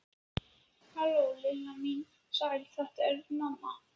Halló, Lilla mín, sæl þetta er mamma.